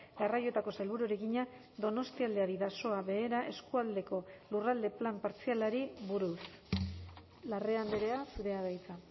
garraioetako sailburuari egina donostialdea bidasoa behera eskualdeko lurralde plan partzialari buruz larrea andrea zurea da hitza